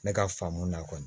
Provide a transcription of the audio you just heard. Ne ka faamu na kɔni